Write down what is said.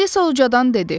Alisa ucadandan dedi.